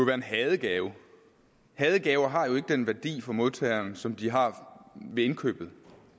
være en hadegave hadegaver har jo ikke den værdi for modtageren som de har ved indkøbet